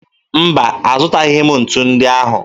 Mba, azụtaghị m ntu ndị ahụ